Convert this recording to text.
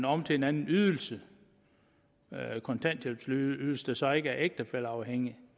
om til en anden ydelse kontanthjælpsydelse der så ikke er ægtefælleafhængig